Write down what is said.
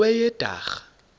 kweyedwarha